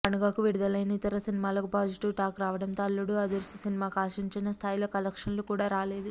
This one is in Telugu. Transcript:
పండుగకు విడుదలైన ఇతర సినిమాలకు పాజిటివ్ టాక్ రావడంతో అల్లుడు అదుర్స్ సినిమాకు ఆశించిన స్థాయిలో కలెక్షన్లు కూడా రాలేదు